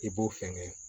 I b'o fɛngɛ